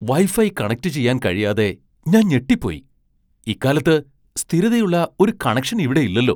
Wifi കണക്റ്റുചെയ്യാൻ കഴിയാതെ ഞാൻ ഞെട്ടിപ്പോയി. ഇക്കാലത്ത്, സ്ഥിരതയുള്ള ഒരു കണക്ഷൻ ഇവിടെയില്ലല്ലോ!